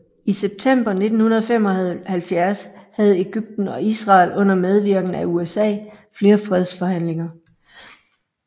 I september 1975 havde Egypten og Israel under medvirken af USA flere fredsforhandlinger